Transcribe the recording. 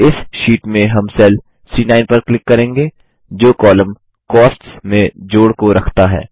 इस शीट में हम सेल सी9 पर क्लिक करेंगे जो कॉलम कॉस्ट्स में जोड़ को रखता है